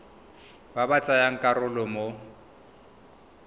ba ba tsayang karolo mo